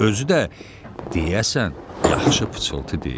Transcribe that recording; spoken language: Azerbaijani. Özü də deyəsən yaxşı pıçıltı deyil.